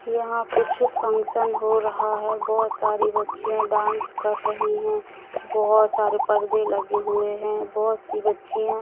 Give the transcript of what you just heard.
यहां कुछ फंक्शन हो रहा है बहोत सारी बच्चीया डांस कर रही हैं बहोत सारे परदे लगे हुए हैं बहोत सी बच्चिया--